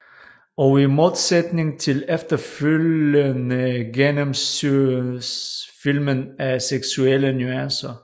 Og i modsætning til efterfølgerne gennemsyres filmen af seksuelle nuancer